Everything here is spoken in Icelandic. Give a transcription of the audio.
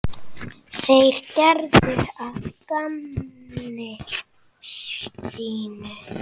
Þeir gerðu að gamni sínu.